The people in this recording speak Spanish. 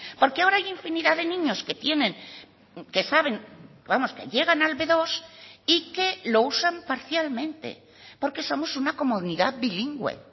porque ahora hay infinidad de niños que tienen que saben vamos que llegan al be dos y que lo usan parcialmente porque somos una comunidad bilingüe